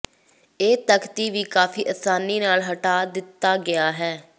ਇਹ ਤਖ਼ਤੀ ਵੀ ਕਾਫ਼ੀ ਆਸਾਨੀ ਨਾਲ ਹਟਾ ਦਿੱਤਾ ਗਿਆ ਹੈ